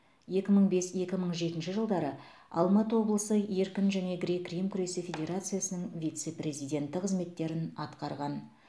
екі мың бес екі мың жетінші жылдары алматы облысы еркін және грек рим күресі федерациясының вице президенті қызметтерін атқарған